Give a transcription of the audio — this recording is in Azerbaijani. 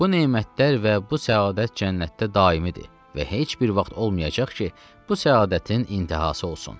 Bu nemətlər və bu səadət cənnətdə daimidir və heç bir vaxt olmayacaq ki, bu səadətin intihası olsun.